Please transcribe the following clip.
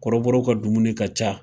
Kɔrɔbɔrɔw ka dumuni ka ca.